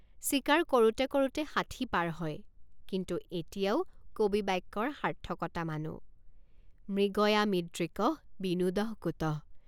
চিকাৰ কৰোঁতে কৰোঁতে ষাঠি পাৰ হয় কিন্তু এতিয়াও কবি বাক্যৰ সাৰ্থকতা মানো মৃগয়ামিদৃকঃ বিনোদঃ কুতঃ।